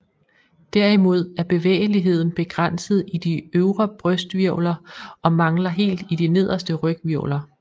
Derimod er bevægeligheden begrænset i de øvre brysthvirvler og mangler helt i de nederste ryghvirvler